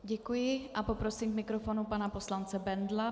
Děkuji a poprosím k mikrofonu pana poslance Bendla.